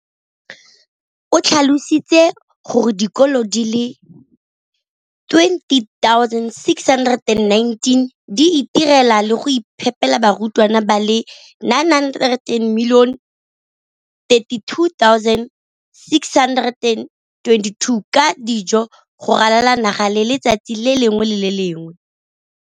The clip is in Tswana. o tlhalositse gore dikolo di le 20 619 di itirela le go iphepela barutwana ba le 9 032 622 ka dijo go ralala naga letsatsi le lengwe le le lengwe.